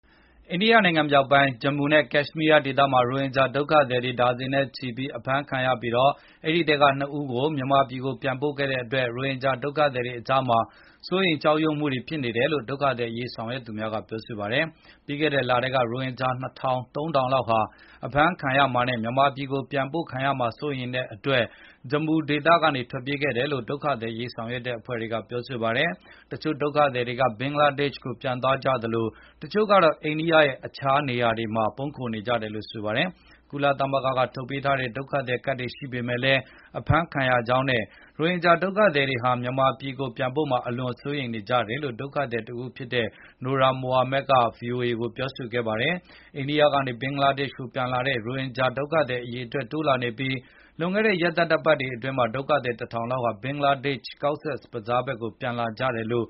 အိန္ဒိယနိုင်ငံမြောက်ပိုင်း Jammu နဲ့ Kashmir ဒေသတွေမှာ ရိုဟင်ဂျာ ဒုက္ခသည်တွေ ဒါဇင်နဲ့ချီပြီး အဖမ်းခံခဲ့ရပြီး အဲဒီအထဲက ၂ ဦးကိုမြန်မာပြည်ပြန်ပို့ခဲ့တဲ့အတွက် ရိုဟင်ဂျာ ဒုက္ခသည်တွေအကြားမှာ စိုးရိမ်ကြောက်ရွံ့မှုတွေ ဖြစ်နေတယ်လို့ ဒုက္ခသည်အရေး ဆော င်ရွက်သူများကပြောဆိုပါတယ်။ ပြီးခဲ့တဲ့လထဲကလည်း ရိုဟင်ဂျာဒုက္ခသည် ၂,၀၀၀၊ ၃,၀၀၀လောက်ဟာ အဖမ်းခံရမှာနဲ့ မြန်မာပြည် ပြန်ပို့ခံရမှာကို စိုးရိမ်တဲ့အတွက် Jammu ကနေ ထွက်ပြေးခဲ့ကြတယ်လို့ ဒုက္ခသည်အရေး ဆောင်ရွက်တဲ့ အဖွဲ့တွေက ပြောပါတယ်။ တချို့ ဒုက္ခသည်တွေက ဘင်္ဂလားဒေ့ရှ်ကိုပြန်သွားကြသလို တချို့ကတော့ အိန္ဒိယရဲ့ အခြားနေရာတွေမှာ ပုန်းခိုနေကြတယ်လို့ ဆိုပါတယ်။ ကုလသမဂ္ဂက ထုတ်ပေးထားတဲ့ ဒုက္ခသည်ကဒ်ရှိလည်း အဖမ်းခံရကြောင်းနဲ့ ရိုဟင်ဂျာ ဒုက္ခသည်တွေဟာ မြန်မာပြည်ကို ပြန်ပို့မှာ အလွန်စိုးရိမ်ကြတယ်လို့ ဒုက္ခသည်တဦးဖြစ်တဲ့ Noor Mohammad က ဗွီအိုအေ ကိုပြောဆိုခဲ့ပါတယ်။ အိန္ဒိယကနေ ဘင်္ဂလားဒေ့ရှ်ကိုပြန်လာတဲ့ ရိုဟင်ဂျာ ဒုက္ခသည်အရေအတွက် တိုးလာနေပြီး လွန်ခဲ့တဲ့ ရက်သတ္တပတ်တွေအတွင်းမှာ ဒုက္ခသည် ၁,၀၀၀ လောက်ဟာ ဘင်္ဂလားဒေ့ရှ် Cox’s Bazar ဘက်ကို ပြန်လာကြတယ်လိ